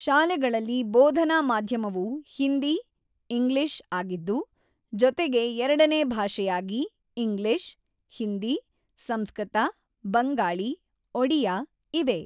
ಶಾಲೆಗಳಲ್ಲಿ ಬೋಧನಾ ಮಾಧ್ಯಮವು ಹಿಂದಿ/ಇಂಗ್ಲಿಷ್ ಆಗಿದ್ದು, ಜೊತೆಗೆ ಎರಡನೇ ಭಾಷೆಯಾಗಿ ಇಂಗ್ಲಿಷ್/ಹಿಂದಿ/ಸಂಸ್ಕೃತ/ಬಂಗಾಳಿ/ಒಡಿಯಾ ಇವೆ.